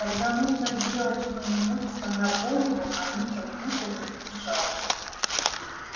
когда нужно сделать что-нибудь сломя голову они как будто не спешат